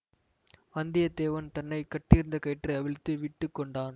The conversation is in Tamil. வந்தியத்தேவன் தன்னை கட்டியிருந்த கயிற்றை அவிழ்த்து விட்டு கொண்டான்